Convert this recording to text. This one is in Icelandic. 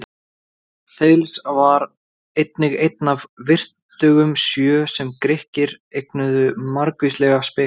Þales var einnig einn af vitringunum sjö, sem Grikkir eignuðu margvíslega speki.